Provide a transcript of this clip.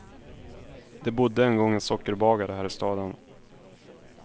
Det bodde en gång en sockerbagare här i staden.